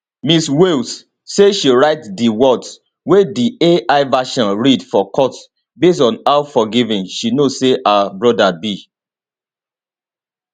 ms wales say she write di words wey di ai version read for court based on how forgiving she know say her brother be